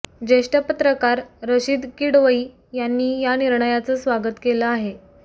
ज्येष्ठ पत्रकार रशीद किडवई यांनी या निर्णयाचं स्वागत केलं आहे